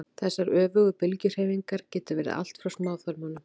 þessar öfugu bylgjuhreyfingar geta verið allt frá smáþörmunum